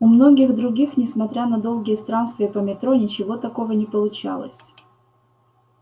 у многих других несмотря на долгие странствия по метро ничего такого не получалось